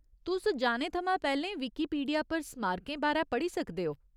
तुस जाने थमां पैह्‌लें विकिपीडिया पर स्मारकें बारै पढ़ी सकदे ओ।